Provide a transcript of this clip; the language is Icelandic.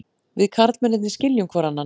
Við karlmennirnir skiljum hvor annan.